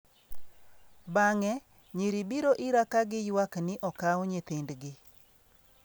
Bang'e, nyiri biro ira ka giywak ni okaw nyithindgi.